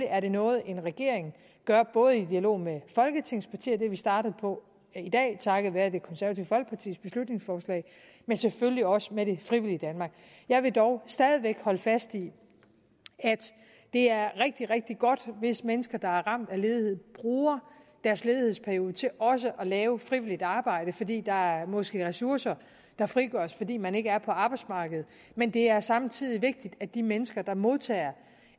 er det noget en regeringen gør både i dialog med folketingets partier og det er vi startet på i dag takket være det konservative folkepartis beslutningsforslag og selvfølgelig også med det frivillige danmark jeg vil dog stadig væk holde fast i at det er rigtig rigtig godt hvis mennesker der er ramt af ledighed bruger deres ledighedsperiode til også at lave frivilligt arbejde fordi der måske er ressourcer der frigøres fordi man ikke er på arbejdsmarkedet men det er samtidig vigtigt at de mennesker der modtager